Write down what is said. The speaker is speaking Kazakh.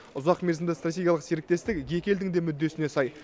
ұзақмерзімді стратегиялық серіктестік екі елдің де мүддесіне сай